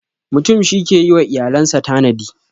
Mutum shi ke yi wa iyalan sa tanadi.